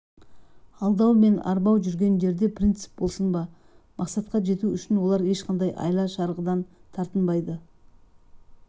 алдау мен арбау жүрген жерде принцип болсын ба мақсатқа жету үшін олар ешқандай айла-шарғыдан тартынбайды